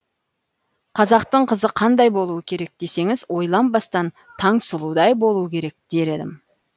қазақтың қызы қандай болуы керек десеңіз ойланбастан таңсұлудай болуы керек дер едім